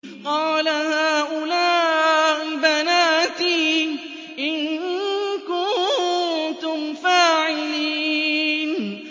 قَالَ هَٰؤُلَاءِ بَنَاتِي إِن كُنتُمْ فَاعِلِينَ